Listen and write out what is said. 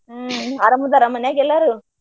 ಹ್ಮ ಅರಾಮ ಅದಾರ ಮನ್ಯಾಗ ಎಲ್ಲಾರು?